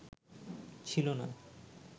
ছিল না